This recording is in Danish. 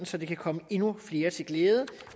så det kan komme endnu flere til glæde